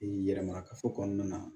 yɛlɛma kafo kɔnɔna na